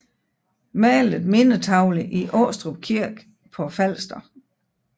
Malet mindetavle i Aastrup Kirke på Falster